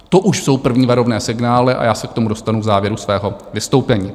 To už jsou první varovné signály a já se k tomu dostanu v závěru svého vystoupení.